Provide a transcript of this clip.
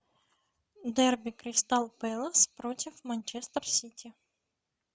дерби кристал пэлас против манчестер сити